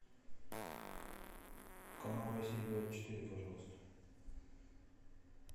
канал россия двадцать четыре пожалуйста